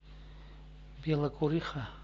белокуриха